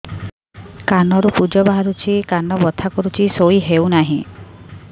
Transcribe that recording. କାନ ରୁ ପୂଜ ବାହାରୁଛି କାନ ବଥା କରୁଛି ଶୋଇ ହେଉନାହିଁ